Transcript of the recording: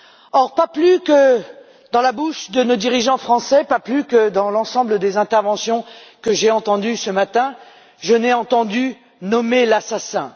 Or, pas plus dans la bouche de nos dirigeants français que dans l'ensemble des interventions que j'ai entendues ce matin, je n'ai entendu nommer l'assassin.